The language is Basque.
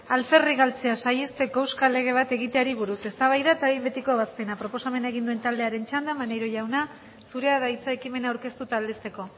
alferrik galtzea saihesteko euskal lege bat egiteari buruz eztabaida eta behin betiko ebazpena proposamena egin duen taldearen txanda maneiro jauna zurea da hitza ekimena aurkeztu eta aldezteko